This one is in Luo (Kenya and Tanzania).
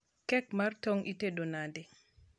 kek mar tong itedo nade